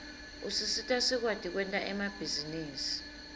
usisita sikwati kwenta emabhizinisi